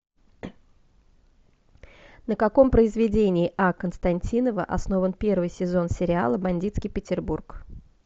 на каком произведении а константинова основан первый сезон сериала бандитский петербург